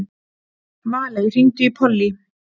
Valey, hringdu í Pollý.